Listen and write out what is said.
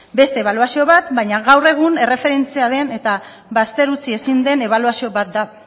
bai beste ebaluazio bat baina gaur egun erreferentzia den eta bazter utzi ezin den ebaluazio bat da